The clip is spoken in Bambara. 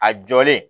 A jɔlen